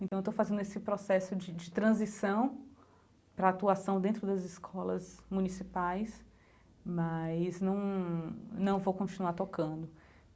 Então, estou fazendo esse processo de de transição para a atuação dentro das escolas municipais, mas num não vou continuar tocando.